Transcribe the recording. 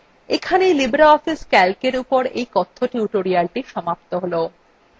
এখানেই libreoffice calcএর এই কথ্য tutorialthe সমাপ্ত হল